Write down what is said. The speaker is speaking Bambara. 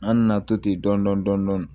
An nana to ten dɔn dɔni dɔni dɔni